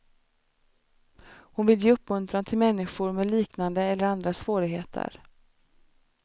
Hon vill ge uppmuntran till människor med liknande eller andra svårigheter.